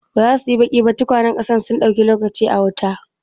Ba za su yi baki ba? tukwanen ƙasar sun dauki lokaci a wuta.